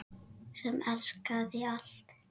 Sem elskaði allt.